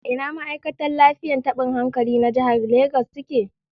Ina ma'aikatan lafiyar tabin hankali na jihar Legas suke